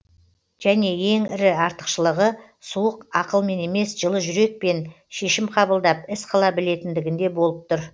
және ең ірі артықшылығы суық ақылмен емес жылы жүрекпен шешім қабылдап іс қыла білетіндігінде болып тұр